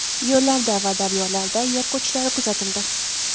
Yo‘llarda va daryolarda yer ko‘chishlari kuzatildi.